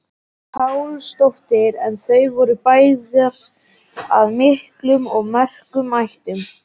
Pálsdóttir en þau voru bæði af miklum og merkum ættum.